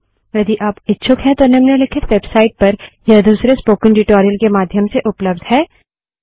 यदि आप इच्छुक हैं तो निम्नलिखित वेबसाइट पर यह दूसरे स्पोकन ट्यूटोरियल के माध्यम से उपलब्ध है